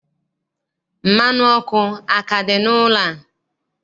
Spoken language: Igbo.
Mmanụ ọkụ aka dị n'ụlọ a?